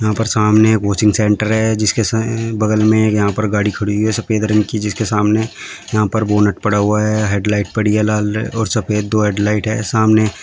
यहा पर सामने एक कोचिंग सेंटर है जिसके स बगल में एक यहां पर गाड़ी खड़ी हुई है सफेद रंग की जिसके सामने यहां पर बोनट पड़ा हुआ है हेडलाइट पड़ी है लाल और सफेद दो हेडलाइट है सामने --